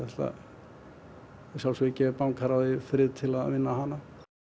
að sjálfsögðu gef bankaráði frið til að vinna hana